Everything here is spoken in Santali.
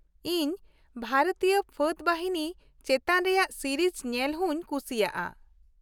ᱤᱧ ᱵᱷᱟᱨᱚᱛᱤᱭᱟᱹ ᱯᱷᱟᱹᱫ ᱵᱟᱦᱤᱱᱤ ᱪᱮᱛᱟᱱ ᱨᱮᱭᱟᱜ ᱥᱤᱨᱤᱡ ᱧᱮᱞ ᱦᱩᱧ ᱠᱩᱥᱤᱭᱟᱜᱼᱟ ᱾